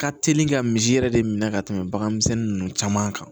Ka teli ka misi yɛrɛ de minɛ ka tɛmɛ bagan misɛnnin ninnu caman kan